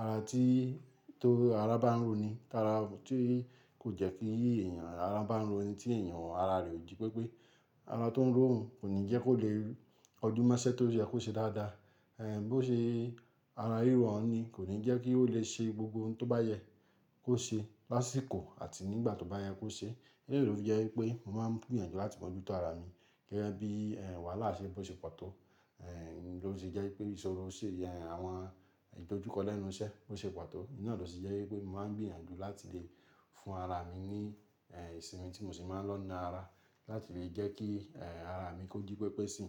ara tí tó ara bá ń ró ni, kí ara tí kò jẹ́ kí èèyàn ara bá ń ró ni tí èèyàn ara rẹ̀ ò jí pépé. Ara tó ń ró yan kò ní jẹ́ kó lè kojúmọ́ iṣẹ́ tó yẹ́ kó ṣe dáadáa. Ẹ̀ bó ṣe ara riro oun ni kò ní jẹ́ kí ó lè ṣe gbogbo ohun tó bá yẹ kó ṣe lásìkò àti nígbà tó bá yẹ kó ṣe. Eleyi ló fi jẹ́ wípé mo máa ń gbìyànjú láti mọ́jútó ara mi gẹ́gẹ́ bí ẹ̀ wàhálà ṣe bó ṣe pàtó. Ló sì jẹ́ pé ìṣòro ṣe yẹn àwọn ìdojúkọ lẹ́nu iṣẹ́ bó ṣe pàtó. Iná ló sì jẹ́ wípé mo máa ń gbìyànjú láti lè fún ara mi ní ẹ̀ ìsinmi tí mo sì máa ń lọ na ara láti lè jẹ́ kí ẹ̀ ara mi kó jí pépé si.